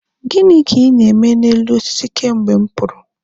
Gịnị ka ị na-eme n'elu osisi kemgbe m pụrụ?